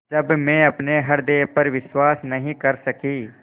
जब मैं अपने हृदय पर विश्वास नहीं कर सकी